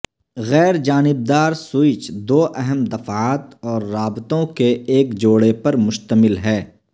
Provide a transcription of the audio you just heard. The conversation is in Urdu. غیر جانب دار سوئچ دو اہم دفعات اور رابطوں کے ایک جوڑے پر مشتمل ہے